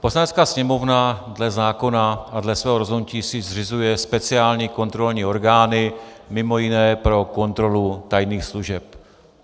Poslanecká sněmovna dle zákona a dle svého rozhodnutí si zřizuje speciální kontrolní orgány, mimo jiné pro kontrolu tajných služeb.